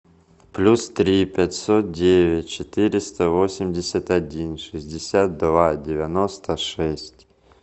плюс три пятьсот девять четыреста восемьдесят один шестьдесят два девяносто шесть